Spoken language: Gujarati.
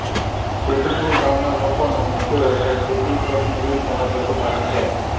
સીધપુર ગામના લોકોનો મુખ્ય વ્યવસાય ખેતી ખેતમજૂરી તેમ જ પશુપાલન છે